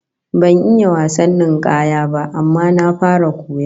Ban iya wasan ninkaya ba, amma na fara koya